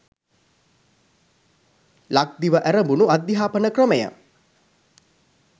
ලක්දිව ඇරඹුණු අධ්‍යාපන ක්‍රමය